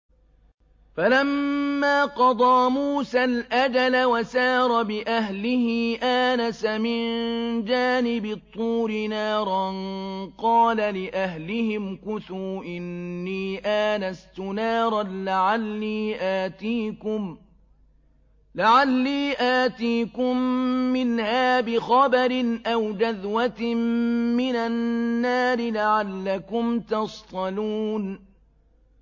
۞ فَلَمَّا قَضَىٰ مُوسَى الْأَجَلَ وَسَارَ بِأَهْلِهِ آنَسَ مِن جَانِبِ الطُّورِ نَارًا قَالَ لِأَهْلِهِ امْكُثُوا إِنِّي آنَسْتُ نَارًا لَّعَلِّي آتِيكُم مِّنْهَا بِخَبَرٍ أَوْ جَذْوَةٍ مِّنَ النَّارِ لَعَلَّكُمْ تَصْطَلُونَ